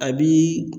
A bi